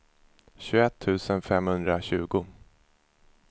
tjugoett tusen femhundratjugo